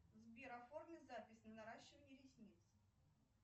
сбер оформи запись на наращивание ресниц